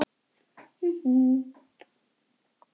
Við erum engir vinir.